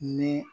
Ni